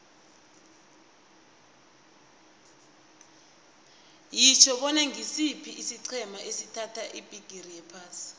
yitjho bona ngisiphi isiqhema esathatha ibhigiri yephasi